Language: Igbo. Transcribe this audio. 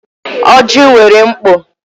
Ọjị nwere mkpo.